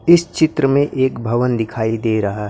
इस चित्र में एक भवन दिखाई दे रहा--